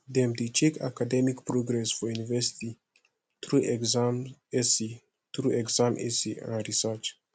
dem dey check academic progress for university through exam essay through exam essay and research